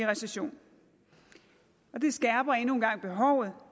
recession og det skærper endnu en gang behovet